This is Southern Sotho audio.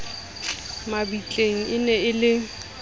mabitleng e ne e le